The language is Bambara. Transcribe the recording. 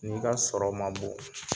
N'i ka sɔrɔ ma bon.